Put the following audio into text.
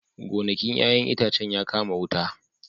Gonakin 'ya'yan itacen ya kama wuta